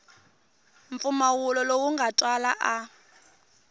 mpfumawulo lowu nga twala a